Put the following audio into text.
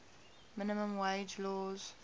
minimum wage laws